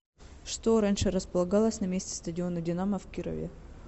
что раньше располагалось на месте стадиона динамо в кирове